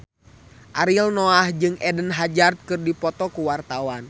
Ariel Noah jeung Eden Hazard keur dipoto ku wartawan